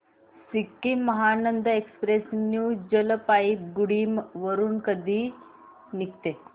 Sikkim Mahananda express new Jalpaiguri वरून कधी निघते